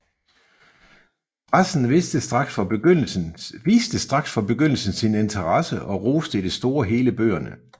Pressen viste straks fra begyndelsen sin interesse og roste i det store hele bøgerne